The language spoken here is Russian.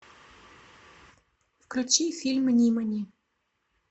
включи фильм нимани